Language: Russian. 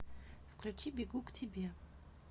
включи бегу к тебе